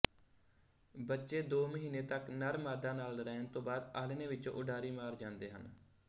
ਬੱਚੇ ਦੋ ਮਹੀਨੇ ਤਕ ਨਰਮਾਦਾ ਨਾਲ ਰਹਿਣ ਤੋਂ ਬਾਅਦ ਆਲ੍ਹਣੇ ਵਿੱਚੋਂ ਉਡਾਰੀ ਮਾਰ ਜਾਂਦੇ ਹਨ